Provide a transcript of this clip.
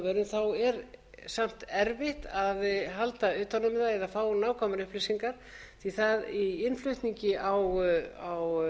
öllum landbúnaðarvörum er samt erfitt að halda utan um það eða fá nákvæmar upplýsingar því í innflutningi á